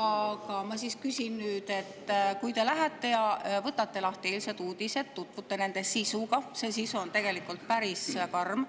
Aga ma küsin nüüd, et kui te lähete ja võtate lahti eilsed uudised, tutvute nende sisuga – see sisu on tegelikult päris karm